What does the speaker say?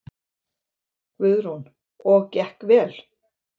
Guðrún: Og gekk vel?